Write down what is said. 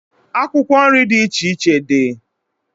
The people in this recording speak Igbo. Akwụkwọ nri dị iche iche dị.